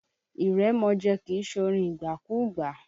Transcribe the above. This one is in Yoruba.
Ìrèmọ̀jé kìí ṣorin ìgbàkúgbà.